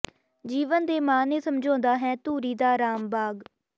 ਜੀਵਨ ਦੇ ਮਾਅਨੇ ਸਮਝਾਉਂਦਾ ਹੈ ਧੂਰੀ ਦਾ ਰਾਮ ਬਾਗ਼